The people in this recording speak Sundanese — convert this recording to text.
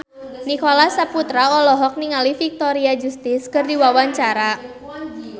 Nicholas Saputra olohok ningali Victoria Justice keur diwawancara